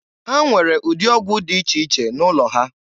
Ha nwere ụdị ọgwụ dị iche iche n'ụlọ ha.